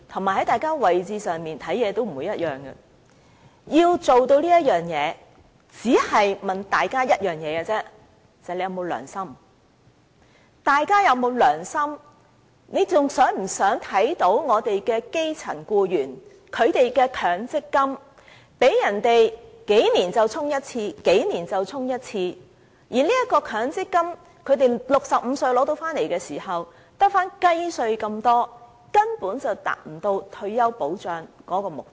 如果真正想做到這一點，我只問大家一句，就是大家有否良心，還想不想看到基層僱員的強積金每數年被對沖一次、每數年被對沖一次，然後，到他們65歲取回強積金時，所餘無幾，根本無法達到退休保障的目的。